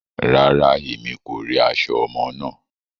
Rárá, Èmí kò ri aṣọ ọmọ náà